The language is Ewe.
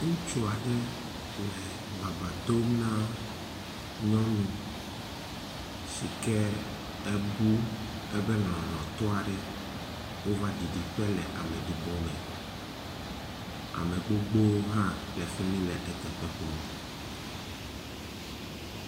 Ŋutsua ɖe le baba dom na nyɔnu si ke ebu ebe lɔlɔ̃tɔa ɖe wova ɖiɖi ƒe le ameɖibɔ me. Ame gbogbowo hã le fi mi le eteƒe kpɔm.